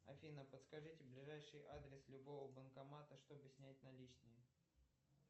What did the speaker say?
афина подскажите ближайший адрес любого банкомата чтобы снять наличные